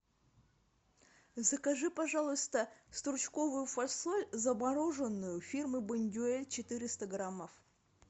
закажи пожалуйста стручковую фасоль замороженную фирмы бондюэль четыреста граммов